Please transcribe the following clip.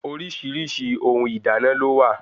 Oríṣiríṣi ohun ìdáná lówà